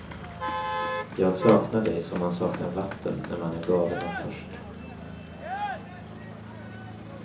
Jag saknar dig som man saknar vatten när man är galen av törst.